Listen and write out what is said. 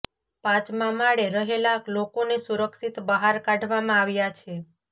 પાંચમા માળે રહેલા લોકોને સુરક્ષિત બાહર કાઢવામાં આવ્યા છે